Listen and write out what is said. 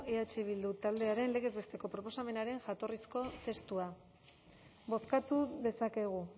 eh bildu taldearen legez besteko proposamenaren jatorrizko testua bozkatu dezakegu